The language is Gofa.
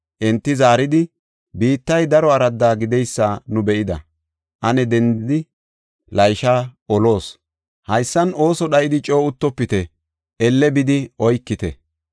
Enti zaaridi, “Biittay daro aradda gideysa nu be7ida. Ane dendidi Laysha oloos. Haysan ooso dhayidi coo uttofite; elle bidi oykite.